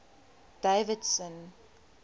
davidson